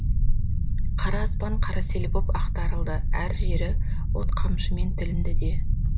қара аспан қара сел боп ақтарылды әр жері от қамшымен тілінді де